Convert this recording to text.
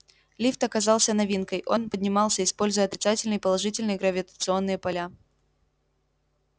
лифт оказался новинкой он поднимался используя отрицательные и положительные гравитационные поля